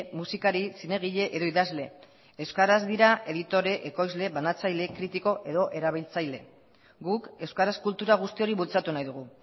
musikari zinegile edo idazle euskaraz dira editore ekoizle banatzaile kritiko edo erabiltzaile guk euskaraz kultura guzti hori bultzatu nahi dugu